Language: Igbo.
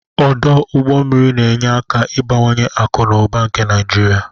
Ọdọ ụgbọ mmiri na-enye aka ịbawanye akụ na ụba nke Naịjirịa.